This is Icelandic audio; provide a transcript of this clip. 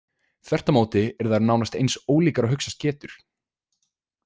Þvert á móti eru þær nánast eins ólíkar og hugsast getur.